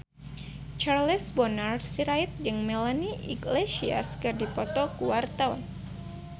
Charles Bonar Sirait jeung Melanie Iglesias keur dipoto ku wartawan